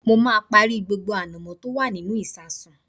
Mo máa parí gbogbo ànàmọ́ tí ó wà nínú ìsasùn